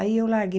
Aí eu larguei.